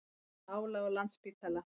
Minna álag á Landspítala